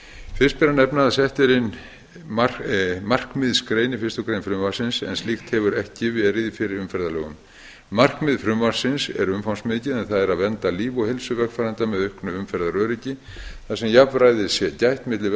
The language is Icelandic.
fyrst ber að nefna að sett er inn markmiðsgrein í fyrstu grein frumvarpsins en slíkt hefur ekki verið í fyrri umferðarlögum markmið frumvarpsins er umfangsmikið en það er að vernda líf og heilsu vegfarenda með auknu umferðaröryggi þar sem jafnræðis er gætt milli